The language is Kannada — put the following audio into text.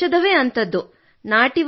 ಆ ಔಷಧವೇ ಅಂಥದ್ದು